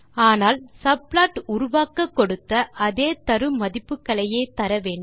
ஆனால் சப்ப்லாட் உருவாக்க கொடுத்த அதே தருமதிப்புகளையே தர வேண்டும்